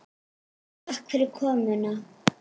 Takk fyrir komuna.